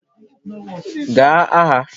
Gaa agha